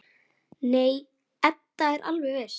Nei, Edda er alveg viss.